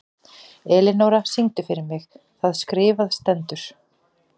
Elinóra, syngdu fyrir mig „Það skrifað stendur“.